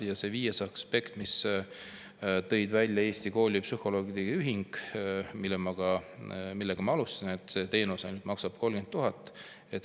Ja viies aspekt, mille tõi välja Eesti Koolipsühholoogide Ühing ja millega ma ka alustasin: see teenus maksab ainult 30 000.